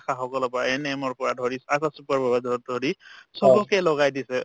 আশাসকলৰ পৰা ANM ৰ পৰা ধৰি আশা supervisor ক ধৰি চবকে লগাই দিছে